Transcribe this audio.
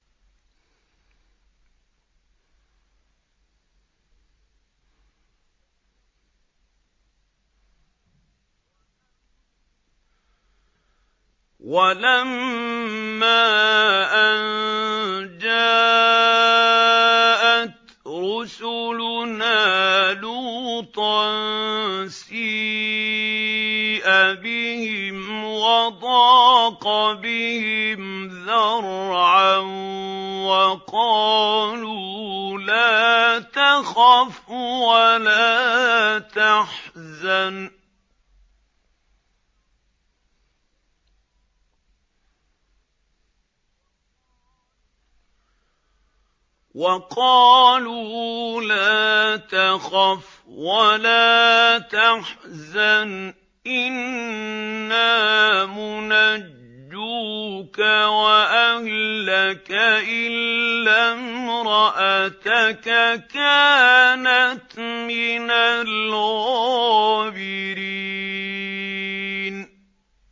وَلَمَّا أَن جَاءَتْ رُسُلُنَا لُوطًا سِيءَ بِهِمْ وَضَاقَ بِهِمْ ذَرْعًا وَقَالُوا لَا تَخَفْ وَلَا تَحْزَنْ ۖ إِنَّا مُنَجُّوكَ وَأَهْلَكَ إِلَّا امْرَأَتَكَ كَانَتْ مِنَ الْغَابِرِينَ